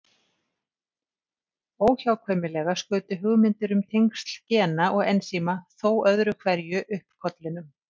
Óhjákvæmilega skutu hugmyndir um tengsl gena og ensíma þó öðru hverju upp kollinum.